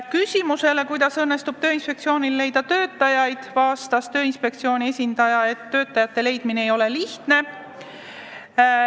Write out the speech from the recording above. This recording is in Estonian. Küsimusele, kuidas õnnestub Tööinspektsioonil uusi töötajaid leida, vastas inspektsiooni esindaja, et see ei ole lihtne.